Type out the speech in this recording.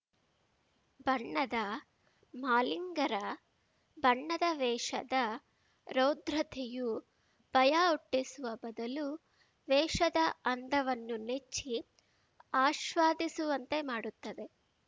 ಬಣ್ಣದ ಮಾಲಿಂಗರ ಬಣ್ಣದ ವೇಷದ ರೌದ್ರತೆಯು ಭಯ ಹುಟ್ಟಿಸುವ ಬದಲುವೇಷದ ಅಂದವನ್ನು ನೆಚ್ಚಿ ಆಶ್ವಾದಿಸುವಂತೆ ಮಾಡುತ್ತದೆ